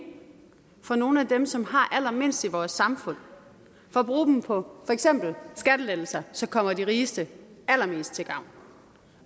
fra nogle af dem som har allermindst i vores samfund for at bruge dem for eksempel på skattelettelser som kommer de rigeste allermest til gavn